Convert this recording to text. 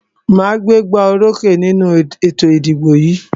Màá gbégbá orókè nínú ètò ìdìbò yìí.